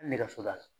Nɛgɛso la